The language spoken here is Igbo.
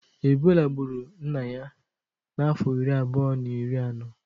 Ebọla gburu nna ya na afọ ịrị abụọ na ịrị anọ.